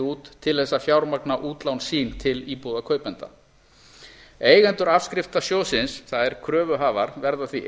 út til þess að fjármagna útlán sín til íbúðakaupenda eigendur afskriftasjóðsins það er kröfuhafar verða því